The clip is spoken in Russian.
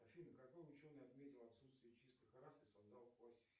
афина какой ученый отметил отсутствие чистых рас и создал